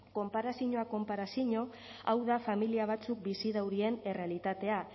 konparazinoak konparazino hau da familia batzuek bizi daurien errealitatea